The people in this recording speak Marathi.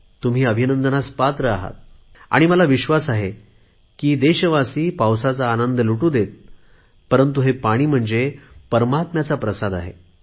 तुम्ही अभिनंदनास पात्र आहात आणि मला विश्वास आहे की देशवासी पावसाचा आनंद जरुर लुटु देतपरंतु हे पाणी म्हणजे परमात्म्याचा प्रसाद आहे